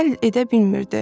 Həll edə bilmirdi.